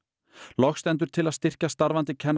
loks stendur til að styrkja starfandi kennara